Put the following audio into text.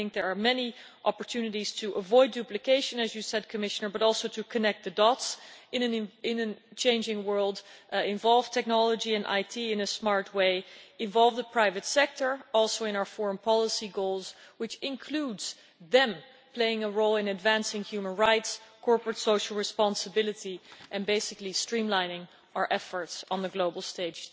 I think there are many opportunities to avoid duplication as you said, Commissioner but also to connect the dots in a changing world, involve technology and IT in a smart way, and involve the private sector also in our foreign policy goals, which includes them playing a role in advancing human rights, corporate social responsibility and basically streamlining our efforts on the global stage.